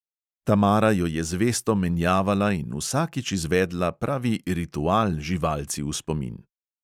Tamara jo je zvesto menjavala in vsakič izvedla pravi ritual živalci v spomin.